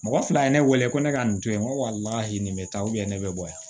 Mɔgɔ fila ye ne wele ko ne ka nin to yen n ko nin bɛ taa ne bɛ bɔ yan